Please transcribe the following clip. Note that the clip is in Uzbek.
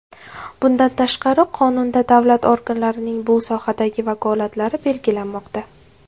Bundan tashqari, Qonunda davlat organlarining bu sohadagi vakolatlari belgilanmoqda.